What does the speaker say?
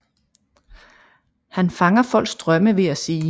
Han fanger folks drømme ved at sige